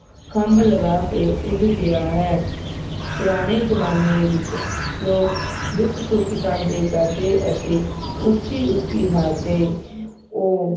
ਖੱਭ ਲਗਾ ਕੇ ਉੱਡ ਗਿਆ ਹੈ ਪੁਰਾਣੇ ਜਮਾਨੇ ਵਿਚ ਲੋਕ ਦੁੱਖ ਸੁੱਖ ਸਾਂਝੇ ਕਰਦੇ ਅਤੇ ਉੱਚੀ ਉੱਚੀ ਹਸੱਦੇ ਉਹ